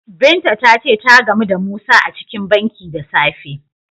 Binta ta ce ta gamu da Musa a cikin banki da safe.